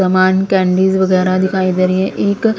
समान कैंडीज वगैरह दिखाई दे रही हैं एक--